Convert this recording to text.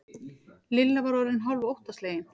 Lilla var orðin hálf óttaslegin.